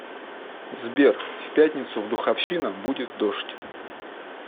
сбер в пятницу в духовщина будет дождь